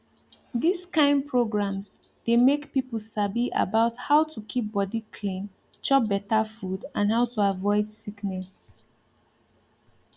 dis kind programs dey make people sabi about how to keep body clean chop better food and how to avoid sickness